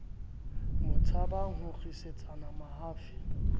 mo tshabang ho nkgisetsana mahafi